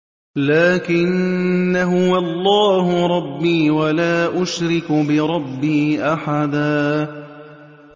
لَّٰكِنَّا هُوَ اللَّهُ رَبِّي وَلَا أُشْرِكُ بِرَبِّي أَحَدًا